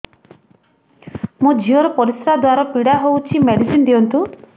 ମୋ ଝିଅ ର ପରିସ୍ରା ଦ୍ଵାର ପୀଡା ହଉଚି ମେଡିସିନ ଦିଅନ୍ତୁ